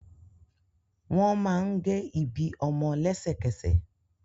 Wọn máa n ge ibi ọmọ lẹ́sẹ̀kẹsẹ̀.